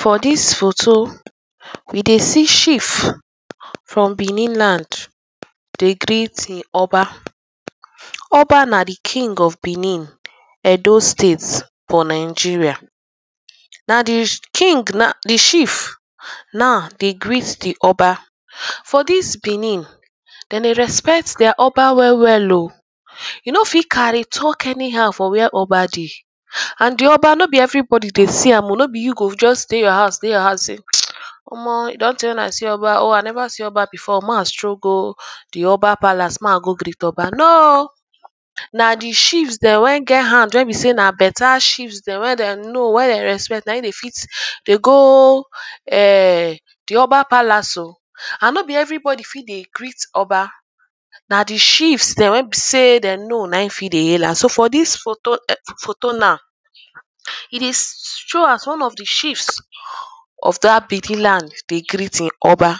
for dis photo we dey see chief from Benin land dey greet him oba oba na de king of Benin Edo state for Nigeria na de king naw de chief naw dey greet de oba for dis Benin dem dey respect dia oba wellwell o you no fit carry talk anyhow for where oba dey and de oba no be everybodi dey see am oh no be you go just dey your house dey your house sey omor e don tey wey i see oba oh i never see oba before make i stroll go de oba palace make i go greet oba no oh na de chiefs dem wey get hand wey be sey na better chiefs dem wey dem know wey dem respect na him dey fit dey go de oba palace o and no be everybodi fit dey greet oba na de chiefs dem wey be sey dem know na him fit dey hail am so for dis photo photo naw e dey show as one of de chiefs of dat Benin land dey greet him Oba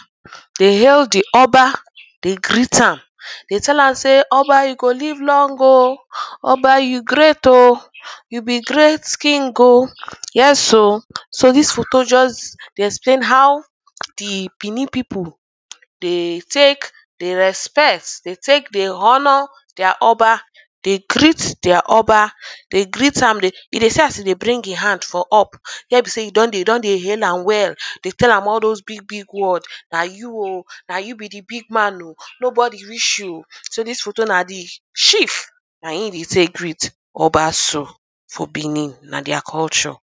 dey hail de oba dey greet am dey tell am sey oba you go live long oh oba you great oh you be great king oh yes oh so dis photo just dey explain haw de Benin pipu dey take dey respect de take dey honour dia oba dey greet dia oba de greet am dey e dey see as e dey bring him hand for up where be sey de don dey hail am well dey tell am all those bigbig word na you oh na you be de big man oh nobody reach you oh so dis photo na de chief na him dey take greet oba so for Benin na dia culture